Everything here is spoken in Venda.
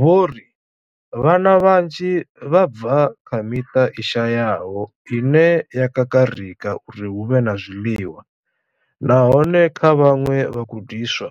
Vho ri. Vhana vhanzhi vha bva kha miṱa i shayaho ine ya kakarika uri hu vhe na zwiḽiwa, nahone kha vhaṅwe vhagudiswa,